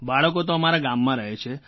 બાળકો તો અમારા ગામમાં રહે છે